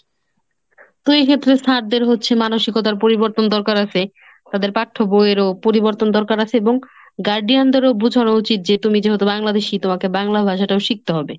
তো এক্ষেত্রে sir দের হচ্ছে মানসিকতার পরিবর্তন দরকার আসে। তাদের পাঠ্য বই এর ও পরিবর্তন দরকার আসে এবং guardian দেরও বোঝানো উচিত যে তুমি যেহেতু Bangladeshi তো তোমাকে বাংলা ভাষাটাও শিখতে হবে।